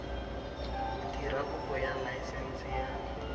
dira kopo ya laesense ya